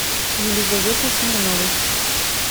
елизаветой смирновой